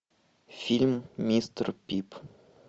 фильм мистер пип